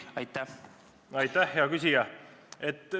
Aitäh, hea küsija!